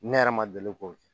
Ne yɛrɛ ma deli k'o kɛ